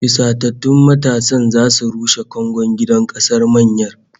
Fusatattun matasan zasu rushe kangon gidan kasar mayyar